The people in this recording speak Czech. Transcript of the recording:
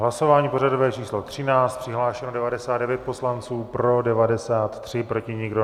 Hlasování pořadové číslo 13, přihlášeno 99 poslanců, pro 93, proti nikdo.